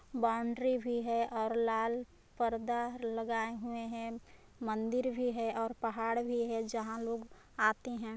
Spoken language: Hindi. बौंडरी भी है और लाल पर्दा लगाए हुए हैं मंदीर भी है और पहाड़ भी है जहाँ लोग आते हैं।